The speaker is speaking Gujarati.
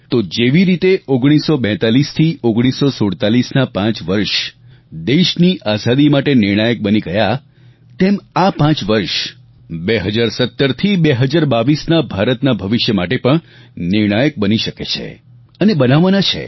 તો જેવી રીતે 1942 થી 1947ના પાંચ વર્ષ દેશની આઝાદી માટે નિર્ણાયક બની ગયા તેમ આ પાંચ વર્ષ 2017 થી 2022 ના ભારતના ભવિષ્ય માટે પણ નિર્ણાયક બની શકે છે અને બનાવવા છે